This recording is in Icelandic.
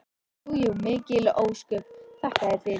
Jú jú, mikil ósköp, þakka þér fyrir.